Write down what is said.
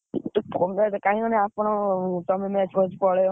କାହିଁକି ଆପଣ ପଳେଇବ।